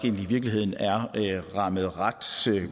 i virkeligheden er rammet ret